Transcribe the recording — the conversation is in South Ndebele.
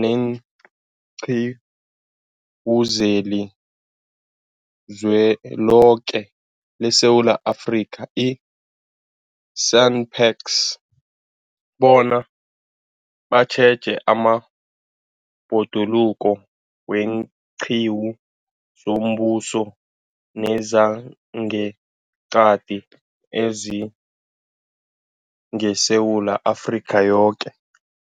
leenQiwu zeliZweloke leSewula Afrika, i-SANParks, bona batjheje amabhoduluko weenqiwu zombuso nezangeqadi ezingeSewula Afrika yoke.